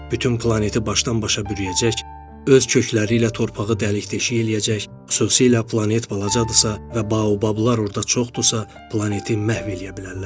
Bütün planeti başdan-başa bürüyəcək, öz kökləri ilə torpağı dəlik-deşik eləyəcək, xüsusilə planet balacadırsa və baobablar orada çoxdursa, planeti məhv eləyə bilərlər.